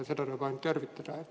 Seda tuleb ainult tervitada.